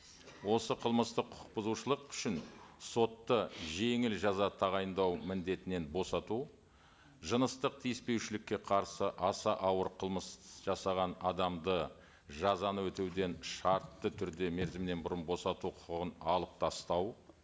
осы қылмыстық құқық бұзушылық үшін сотты жеңіл жаза тағайындау міндетінен босату жыныстық тиіспеушілікке қарсы аса ауыр қылмыс жасаған адамды жазаны өтеуден шартты түрде мерзімнен бұрын босату құқығын алып тастау